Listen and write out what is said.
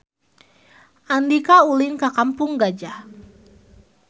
Andika ulin ka Kampung Gajah